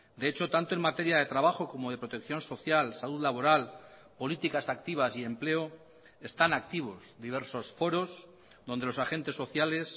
de hecho tanto en materia de trabajo como de protección social salud laboral políticas activas y empleo están activos diversos foros donde los agentes sociales